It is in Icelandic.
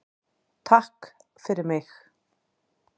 TAKK FYRIR MIG.